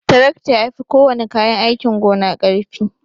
Tarakta yafi kowana kayan aikin gona karfi.